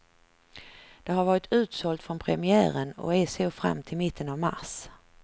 Det har varit utsålt från premiären och är så fram till mitten av mars.